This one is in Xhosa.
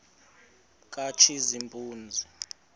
katshazimpuzi